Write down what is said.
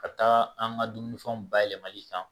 Ka taa an ka dumunifɛnw bayɛlɛmali kan